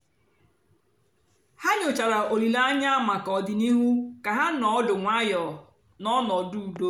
ha nyòchàra òlìlè ànyá maka ọ̀dị̀nihú kà ha nọ̀ ọ́dụ́ nwayọ́ ná ọnọ́dụ́ ùdò.